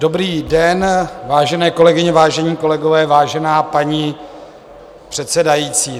Dobrý den, vážené kolegyně, vážení kolegové, vážená paní předsedající.